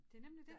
Det nemlig dét